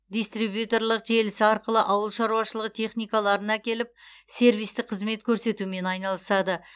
дистрибьюторлық желісі арқылы ауыл шаруашылығы техникаларын әкеліп сервистік қызмет көрсетумен айналысады